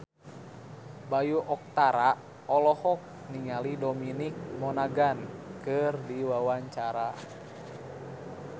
Bayu Octara olohok ningali Dominic Monaghan keur diwawancara